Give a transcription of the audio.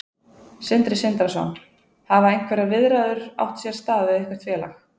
Sindri Sindrason: Hafa einhverjar viðræður átt sér stað við eitthvert félag?